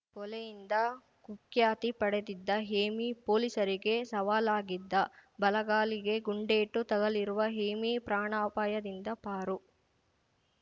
ಕೊಲೆಯಿಂದ ಕುಖ್ಯಾತಿ ಪಡೆದಿದ್ದ ಹೇಮಿ ಪೊಲೀಸರಿಗೆ ಸವಾಲಾಗಿದ್ದ ಬಲಗಾಲಿಗೆ ಗುಂಡೇಟು ತಗುಲಿರುವ ಹೇಮಿ ಪ್ರಾಣಾಪಾಯದಿಂದ ಪಾರು